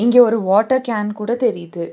இங்க ஒரு water can கூட தெரியிது.